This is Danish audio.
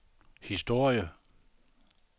historie